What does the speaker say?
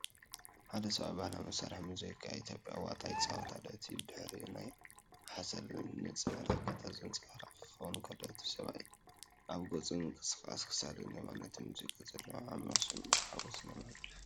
ሓደ ሰብኣይ ባህላዊ መሳርሒ ሙዚቃ ኢትዮጵያ "ዋጣ" ይጻወት ኣሎ። እቲ ብድሕሪኡ ናይ ሓሰር ክምር ንጽባቐ ገጠር ዘንጸባርቕ ክኸውን ከሎ፡ እቲ ሰብኣይ ኣብ ገጹን ምንቅስቓስ ክሳዱን ድማ ነቲ ሙዚቃ ዘለዎ ዓሚቝ ስምዒትን ሓጐስን የመሓላልፍ።